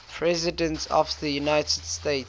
presidents of the united states